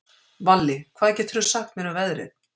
Valli, hvað geturðu sagt mér um veðrið?